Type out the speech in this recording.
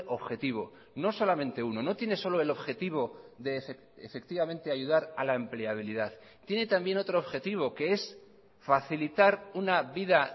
objetivo no solamente uno no tiene solo el objetivo de efectivamente ayudar a la empleabilidad tiene también otro objetivo que es facilitar una vida